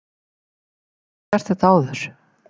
Hefur hann ekki gert þetta áður?